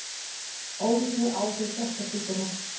Óvíst með áhrif á hjartasjúkdóma